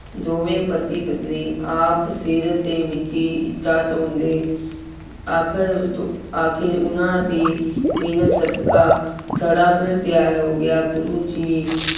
ਦੋਵੇਂ ਪਤੀ ਪਤਨੀ ਆਪ ਸਿਰ ਤੇ ਮਿੱਟੀ ਇੱਟਾਂ ਢੋਂਅਦੇ। ਆਖਿਰ ਆਖਿਰ ਉਹਨਾ ਦੀ ਮਿਹਨਤ ਸਦਕਾ, ਥੜ੍ਹਾ ਫਿਰ ਤਿਆਰ ਹੋ ਗਿਆ। ਗੁਰੂ ਜੀ